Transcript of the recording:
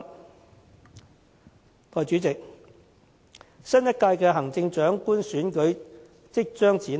代理主席，新一屆行政長官選舉即將展開。